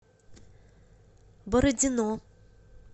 бородино